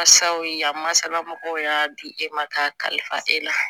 Masaw ye yan masala mɔgɔw y'a di e ma k'a kalifa e la